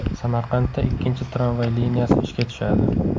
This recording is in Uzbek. Samarqandda ikkinchi tramvay liniyasi ishga tushadi.